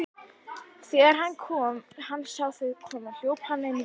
Þegar hann sá þau koma hljóp hann inn göngin.